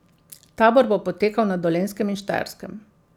Tabor bo potekal na Dolenjskem in Štajerskem.